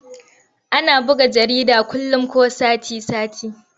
Ana buga jarida kullum ko sati-sati.